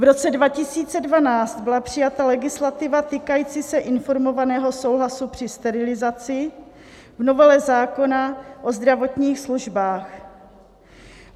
V roce 2012 byla přijata legislativa týkající se informovaného souhlasu při sterilizaci v novele zákona o zdravotních službách.